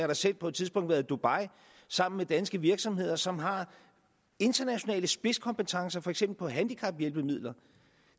da selv på et tidspunkt været i dubai sammen med danske virksomheder som har internationale spidskompetencer for eksempel handicaphjælpemidler